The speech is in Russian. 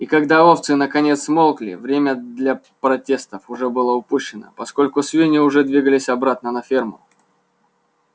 и когда овцы наконец смолкли время для протестов уже было упущено поскольку свиньи уже двигались обратно на ферму